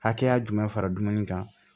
Hakɛya jumɛn fara dumuni kan